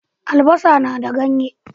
Albasa na da ganye.